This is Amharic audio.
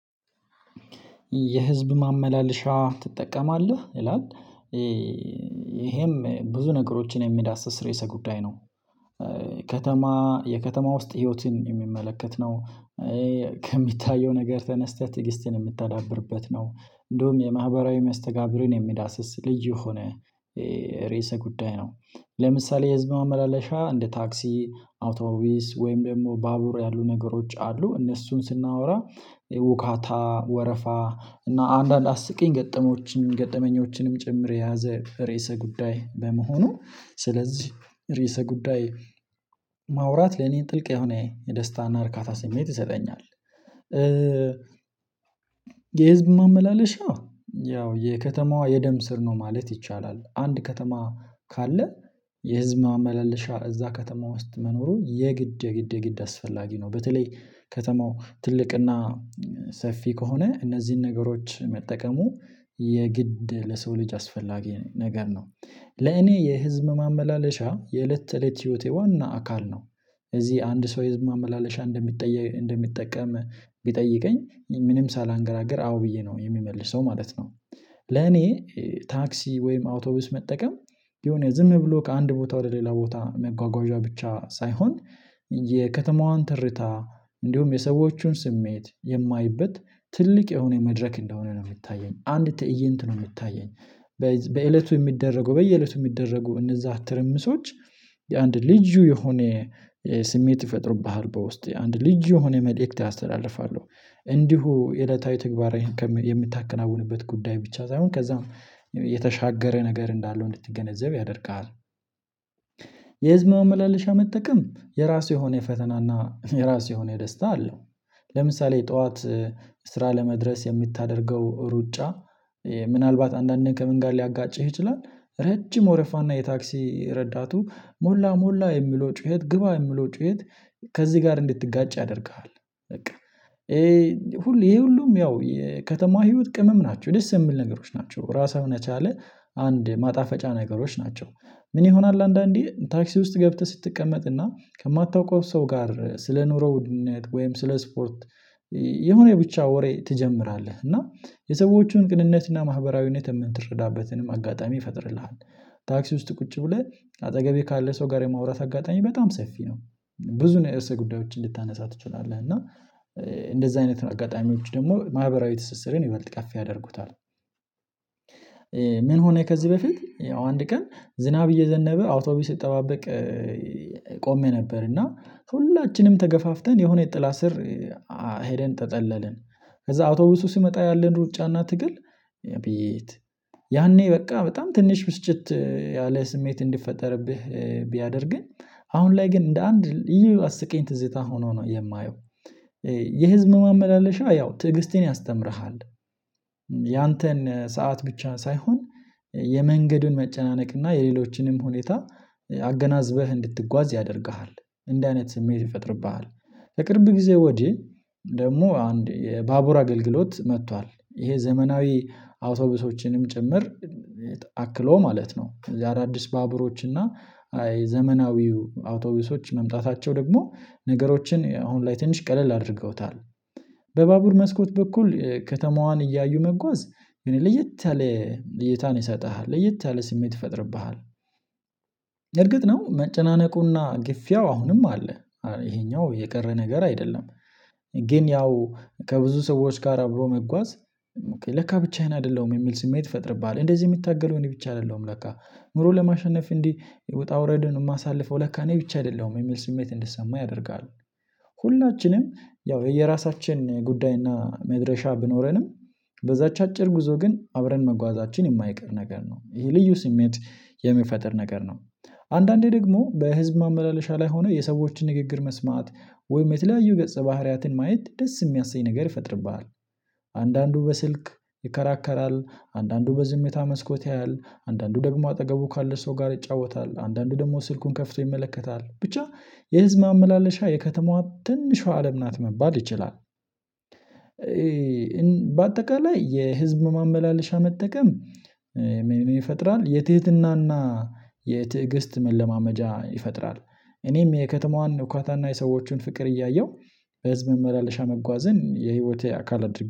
የህዝብ ማመላለሻ ትጠቀማለህ ይላል? ይሄም ብዙ ነገሮችን የሚዳስስ ርዕሰ ጉዳይ ነው። ከተማ የከተማ ውስጥ ህይወትን የሚመለከት ነው። ከሚታየው ነገር ተነስተህ ትዕግስትህን የምታዳብርበት ነው። እንደውም የማህበራዊ መስተጋብርን የሚዳስስ ልዩ የሆነ ርዕሰ ጉዳይ ነው። ለምሳሌ የህዝብ ማመላለሻ እንደ ታክሲ አውቶብስ ወይም ደግሞ ባቡር ያሉ ነገሮች አሉ እነሱን ስናወራ ውካታ ወረፋ እና አንዳንድ አስቂኝ ገጠመኞችን ገጠመኞችንም ጭምር የያዘ ርዕሰ ጉዳይ በመሆኑ። ስለዚህ ርዕሰ ጉዳይ ማውራት ለእኔን ጥልቅ የሆነ የደስታና እርካታ ስሜት ይሰጠኛል። የህዝብ ማመላለሻ ያው የከተማዋ የደም ስር ነው ማለት ይቻላል። አንድ ከተማ ካለ የህዝብ ማመላለሻ እዛ ከተማ ውስጥ መኖሩ የግድ የግድ የግድ አስፈላጊ ነው። በተለይ ከተማው ትልቅና ሰፊ ከሆነ እነዚህን ነገሮች መጠቀሙ የግድ ለሰው ልጅ አስፈላጊ ነገር ነው። ለእኔ የህዝብ ማመላለሻ የእለት ተእለት ህይወቴ ዋና አካል ነው። እዚህ አንድ ሰው የህዝብ ማመላለሻ እንደሚጠቀም ቢጠይቀኝ ምንም ሳላንገራግር አዎ ብዬ ነው የምመልሰው ማለት ነው። ለኔ ታክሲ ወይም አውቶቡስ መጠቀም የሆነ ዝም ብሎ ከአንድ ቦታ ወደ ሌላ ቦታ መጓጓዣ ብቻ ሳይሆን የከተማዋን ትርታ እንዲሁም የሰዎቹን ስሜት የማይበት ትልቅ የሆነ መድረክ እንደሆነ ነው የሚታየኝ አንድ ትእይንት ነው የሚታየኝ። በእለቱ የሚደረገው በየእለቱ የሚደረገው እነዛ ትርምሶች የአንድ ልዩ የሆነ ስሜት ይፈጥሩብሃል በውስጥህ አንድ ልዩ የሆነ መልእክት ያስተላልፋሉ። እንዲሁ የዕለታዊ ተግባራዊ የምታከናውንበት ጉዳይ ብቻ ሳይሆን ከዛም የተሻገረ ነገር እንዳለው እንድትገነዘብ ያደርግሃል። የህዝብ ማመላለሻ መጠቀም የራሱ የሆነ የፈተናና የራሱ የሆነ ደስታ አለው። ለምሳሌ ጠዋት ስራ ለመድረስ የምታደርገው ሩጫ ምንአልባት አንዳንዴ ከምን ጋር ሊያጋጭህ ይችላል። ረጅም ወረፋና የታክሲ ረዳቱ ሞላ ሞላ የሚለው ጩኸት ግባ የሚለው ጩኸት ከዚህ ጋር እንድትጋጭ ያደርግሃል። በቃ ይሄ ሁሉ ይሄ ሁሉም ያው የከተማ ህይወት ቅመም ናቸው ደስ የሚል ነገሮች ናቸው ራሱን የቻለ አንድ ማጣፈጫ ነገሮች ናቸው። ምን ይሆናል አንዳንዴ ታክሲ ውስጥ ገብተህ ስትቀመጥና ከማታውቀው ሰው ጋር ስለኑሮው ውድነት ወይም ስለ ስፖርት የሆነ ብቻ ወሬ ትጀምራለህ እና የሰዎችን ቅንነትና ማህበራዊነት የምትረዳበትንም አጋጣሚ ይፈጥርልሃል። ታክሲ ውስጥ ቁጭ ብለህ አጠገቤ ካለ ሰው ጋር የማውራት አጋጣሚ በጣም ሰፊ ነው። ብዙ ርዕሰ ጉዳዮችን ልታነሳ ትችላለህ እና እንደዛ አይነት አጋጣሚዎች ደግሞ ማህበራዊ ትስስርን ይበልጥ ከፍ ያደርጉታል። ምን ሆነ ከዚህ በፊት ያው አንድ ቀን ዝናብ እየዘነበ አውቶብስ ስጠባበቅ ቆሜ ነበር እና ሁላችንም ተገፋፍተን የሆነ የጥላ ስር ሄደን ተጠለልን። ከዛ አውቶቡሱ ሲመጣ ያለን ሩጫ እና ትግል ያኔ በቃ በጣም ትንሽ ብስጭት ያለ ስሜት እንዲፈጠርብህ ቢያደርግም። አሁን ላይ ግን እንደ አንድ እዩ አስቂኝ ትዝታ ሆኖ ነው የማየው። የህዝብ ማመላለሻ ያው ትዕግስትን ያስተምርሃል። ያንተን ሰዓት ብቻ ሳይሆን የመንገዱን መጨናነቅ እና የሌሎችንም ሁኔታ አገናዝበህ እንድትጓዝ ያደርግሃል እንደ እንደዚህ አይነት ስሜት ይፈጥርብሃል። በቅርብ ጊዜ ወዲህ ደግሞ አንድ የባቡር አገልግሎት መጥቷል ይሄ ዘመናዊ አውቶቡሶችንም ጭምር አክሎ ማለት ነው እንደዚህ አዳዲስ ባቡሮች እና ዘመናዊው አውቶቢሶች መምጣታቸው ደግሞ ነገሮችን አሁን ላይ ትንሽ ቀለል አድርገውታል። በባቡር መስኮት በኩል ከተማዋን እያዩ መጓዝ ግን ለየት ያለ እይታን ይሰጥሃል ለየት ያለ ስሜት ይፈጥርብሃል። እርግጥ ነው መጨናነቁና ግፊያው አሁንም አለ ይሄኛው የቀረ ነገር አይደለም። ግን ያው ከብዙ ሰዎች ጋር አብሮ መጓዝ ለካ ብቻዬን አይደለሁም የሚል ስሜት ይፈጥርብሃል እንደዚህ የሚታገለው እኔ ብቻ አይደለሁም ለካ ኑሮን ለማሸነፍ እንዲህ ውጣ ውረድን የማሳልፈው ለካ እኔ ብቻ አይደለሁም የሚል ስሜት እንድሰማህ ያደርጋል። ሁላችንም ያው የየራሳችን ጉዳይና መድረሻ ቢኖረንም በዛች አጭር ጉዞ ግን አብረን መጓዛችን የማይቀር ነገር ነው ይሄ ልዩ ስሜት የሚፈጥር ነገር ነው። አንዳንዴ ደግሞ በህዝብ ማመላለሻ ላይ ሆነህ የሰዎችን ንግግር መስማት ወይም የተለያዩ ገጸ ባህሪያትን ማየት ደስ የሚያሰኝ ነገር ይፈጥርብሃል። አንዳንዱ በስልክ ይከራከራል አንዳንዱ በዝምታ መስኮት ያያል አንዳንዱ ደግሞ አጠገቡ ካለ ሰው ጋር ይጫወታል አንዳንዱ ደግሞ ስልኩን ከፍቶ ይመለከታል ብቻ የህዝብ ማመላለሻ የከተማዋ ትንሿ አለም ናት መባል ይችላል። በአጠቃላይ የህዝብ ማመላለሻ መጠቀም ምን ይፈጥራል የትህትናና የትእግስት መለማመጃ ይፈጥራል። እኔም የከተማዋን ሁካታና የሰዎችን ፍቅር እያየሁ በህዝብ ማመላለሻ መጓዝን የህይወቴ አካል አድርጌ